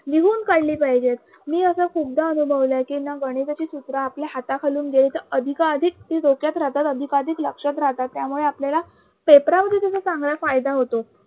लिहून काढली पाहिजेत मी असं खूपदा अनुभवलं आहे कि ना गणिताची सूत्र आपल्या हाताखालून गेली तर अधिकाअधिक ती डोक्यात राहतात अधिकाअधिक लक्षात राहतात त्यामुळे आपलाला Papera मध्ये चांगला फायदा होतो.